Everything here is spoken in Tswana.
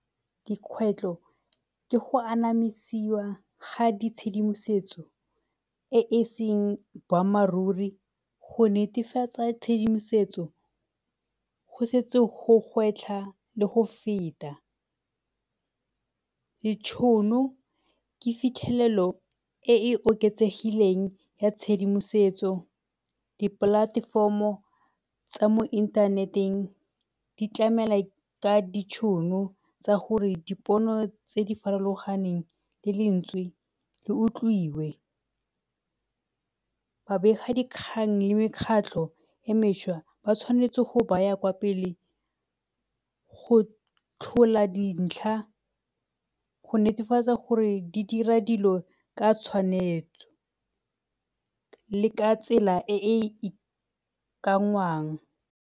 Dikgwetlho ke go anamisiwa ga di tshedimosetso e e seng boammaaruri, go netefatsa tshedimosetso go setse go gwetlha le go feta. Ditšhono ke fitlhelelo e e oketsegileng ya tshedimosetso. Di-platform-o tsa mo inthaneteng di tlamela ka ditšhono tsa gore dipono tse di farologaneng le lentswe di utlwiwe. Babegadikgang le mekgatlho e meswa ba tshwanetse go baya kwa pele go tlhola dintlha go netefatsa gore di dira dilo ka tshwanetso le ka tsela e e .